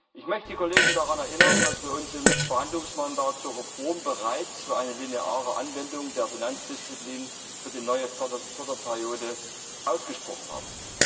Ich möchte die Kollegen daran erinnern, dass wir uns im Verhandlungsmandat zur Reform bereits für eine lineare Anwendung der Finanzdisziplin für die neue Förderperiode ausgesprochen haben.